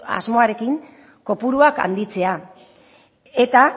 asmoarekin kopuruak handitzea eta